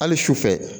Hali sufɛ